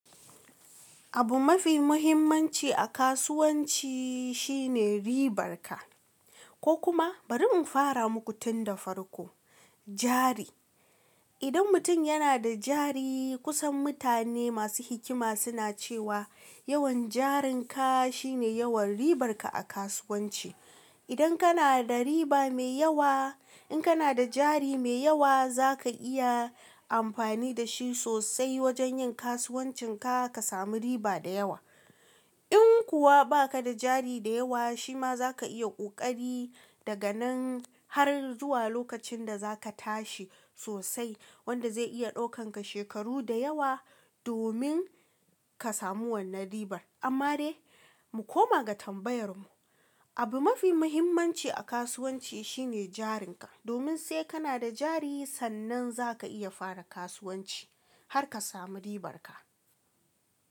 Abu mafi muhimmanci a kasuwanci shi ne ribarka ko kuma bari in fara muku tun da farko, jari. Idan mutum yana da jari, kusan mutane masu hikima suna cewa yawan jarinka shine yawan ribarka a kasuwanci. Idan kana da riba mai yawa, in kana da jari mai yawa za ka iya amfani da shi sosai wajen yin kasuwancinka ka samu riba da yawa. In kuwa ba ka da jari da yawa, shi ma za ka iya ƙoƙari daga nan har zuwa lokacin da za ka tashi sosai wanda zai iya ɗaukanka shekaru da yawa domin ka samu wannan ribar. Amma dai mu koma ga tambayar mu, abu mafi muhimmanci a kasuwanci shi ne jarinka. Domin sai kana da jari sannan za ka iya fara kasuwanci har ka samu ribarka.